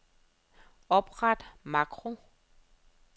Opret makro.